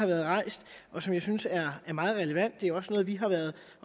været rejst og som jeg synes er meget relevant det er også noget vi har været